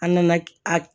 An nana a